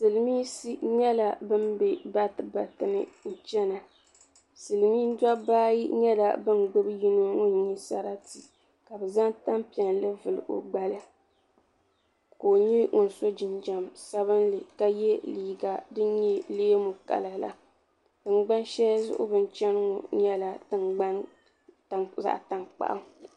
Silmiinsi nyɛla bin bɛ bati bati ni chana silmiin dabba ayi nyɛla bin gbubi yino ŋun nyɛ sarati ka bi zaŋ tanpiɛlli vuli o gbali ka o nyɛ ŋun so jinjam sabinli ka yɛ liiga din nyɛ leemu kala la tingban sheli zuɣu bin chani ŋɔ nyɛla zaɣa tankpaɣu.